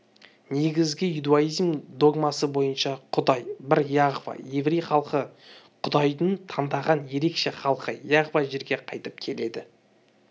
негізгі иудаизм догмасы бойынша құдай бір яхва еврей халқы құдайдың таңдаған ерекше халқы яхва жерге қайтып келеді